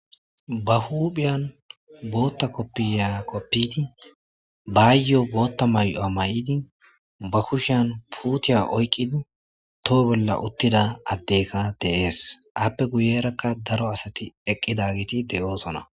Ba huuphiyan bootta koppiya koppidi baayyo bootta may'o'a may'idi ba kushan puutiya oyqqidi toho bolla uttida addeyka deees aappe guyerakka daro asati eqqida giti de'oosona.